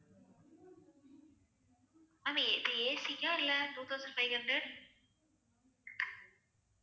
ma'am இது AC க்கா இல்லை two thousand five hundred